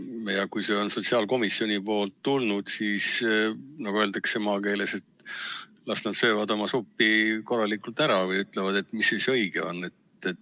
Kui see eelnõu on sotsiaalkomisjonist tulnud, siis las nad söövad, nagu maakeeles öeldakse, oma supi korralikult ära ja ütlevad, mis õige on.